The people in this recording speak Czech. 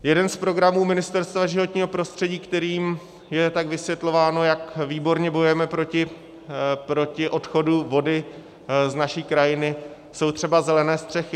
Jeden z programů Ministerstva životního prostředí, kterým je tak vysvětlováno, jak výborně bojujeme proti odchodu vody z naší krajiny, jsou třeba zelené střechy.